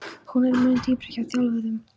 Hún er mun dýpri hjá þjálfuðum.